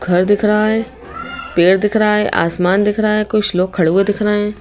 घर दिख रहा है पेड़ दिख रहा है आसमान दिख रहा है कुछ लोग खड़े हुए दिख रहे हैं।